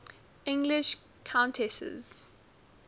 english countesses